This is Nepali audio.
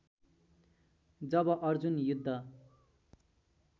जब अर्जुन युद्ध